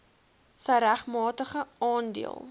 sy regmatige aandeel